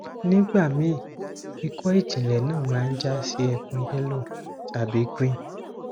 nigbami iko ijinle na ma jasi ekun yellow tabi green